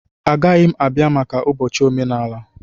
Agaghị m abịa maka ụbọchị omenala.